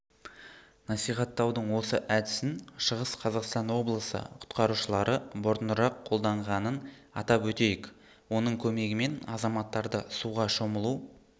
насихаттаудың осы әдісін шығыс қазақстан облысы құтқарушылары бұрынырақ қолданғанын атап өтейік оның көмегімен азаматтарды суға шомылу